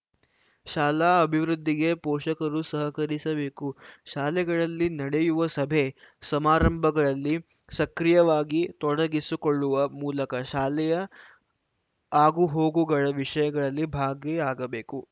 ಶಾಲಾ ಅಭಿವೃದ್ಧಿಗೆ ಪೋಷಕರು ಸಹಕರಿಸಬೇಕು ಶಾಲೆಗಳಲ್ಲಿ ನಡೆಯುವ ಸಭೆ ಸಮಾರಂಭಗಳಲ್ಲಿ ಸಕ್ರಿಯವಾಗಿ ತೊಡಗಿಸಿಕೊಳ್ಳುವ ಮೂಲಕ ಶಾಲೆಯ ಆಗುಹೋಗುಗಳ ವಿಷಯಗಳಲ್ಲಿ ಭಾಗಿಯಾಗಬೇಕು